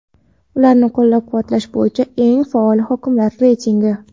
ularni qo‘llab-quvvatlash bo‘yicha eng faol hokimliklar reytingi.